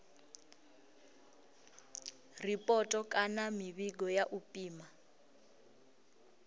ripoto kana mivhigo ya u pima